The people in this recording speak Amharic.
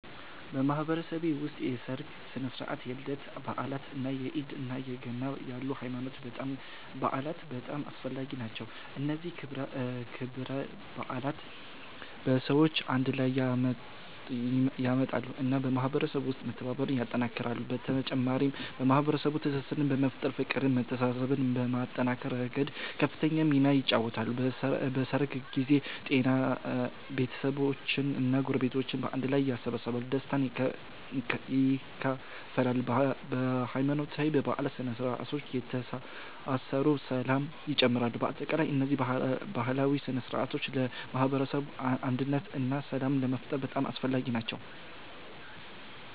በማህበረሰቤ ውስጥ የሠርግ ሥነ ሥርዓት፣ የልደት በዓላት፣ እንደ ኢድ እና ገና ያሉ ሃይማኖታዊ በዓላት በጣም አስፈላጊ ናቸው። እነዚህ ክብረ በዓላት ሰዎችን አንድ ላይ ያመጣሉ እና በማህበረሰቡ ውስጥ መተባበርን ያጠናክራሉ። በተጨማሪም የማህበረሰቡን ትስስር በመፍጠር፤ ፍቅርን መተሳሰብን ከማጠናከር ረገድ ከፍተኛውን ሚና ይጫወታሉ። በሠርግ ጊዜ ቤተሰቦች እና ጎረቤቶች በአንድ ላይ ይሰበሰባሉ፣ ደስታን ይካፈላሉ። በሃይማኖታዊ በዓላትም ሰዎች ይተሳሰራሉ ሰላም ይጨምራሉ። በአጠቃላይ እነዚህ ባህላዊ ሥነ ሥርዓቶች ለማህበረሰብ አንድነት እና ሰላም ለመፍጠር በጣም አስፈላጊ ናቸው።